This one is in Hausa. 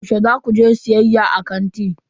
Yaushe za ku je siyayya a kanti?